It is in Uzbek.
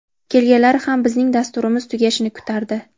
Kelganlari ham bizning dasturimiz tugashini kutardi.